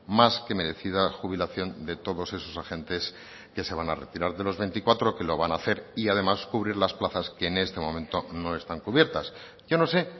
más que merecida jubilación de todos esos agentes que se van a retirar de los veinticuatro que lo van a hacer y además cubrir las plazas que en este momento no están cubiertas yo no sé